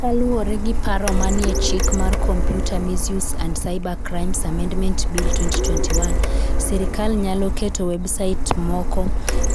Kaluwore gi paro manie Chik mar Computer Misuse and Cybercrimes (Amendment) Bill, 2021, sirkal nyalo keto websait moko